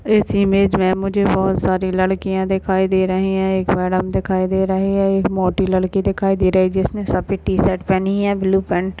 इस इमेज में मुझे बहुत सारे लड़कियां दिखाई दे रही है एक मैडम दिखाई दे रही है एक मोटी लड़की दिखाई दे रही है जिसने सफेद टी-शर्ट पहनी है ब्लू पेंट --